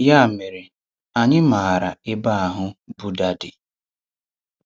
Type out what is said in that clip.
Ya mere anyị maara ebe ahụ Buddha dị.